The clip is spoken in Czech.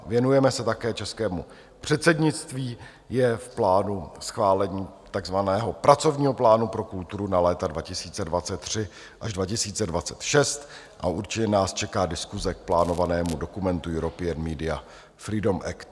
Věnujeme se také českému předsednictví, je v plánu schválení takzvaného Pracovního plánu pro kulturu na léta 2023 až 2026 a určitě nás čeká diskuse k plánovanému dokumentu European Media Freedom Act.